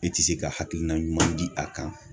E ti se ka hakilina ɲuman di a kan